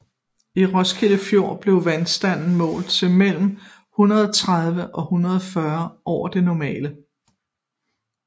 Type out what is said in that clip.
I Roskilde Fjord blev vandstanden målt til mellem 130 og 140 over det normale